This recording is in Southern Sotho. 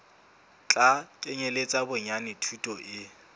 tla kenyeletsa bonyane thuto e